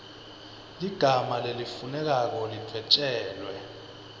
ligama lelifunekako lidvwetjelwe